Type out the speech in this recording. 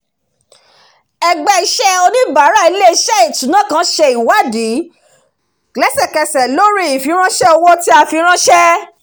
ẹgbẹ́ iṣẹ́ oníbàárà ilé-iṣẹ́ ìṣúná kan ṣe ìwádìí lẹ́sẹ̀kẹsẹ̀ lórí ìfiránṣé owó tí a fi ránṣé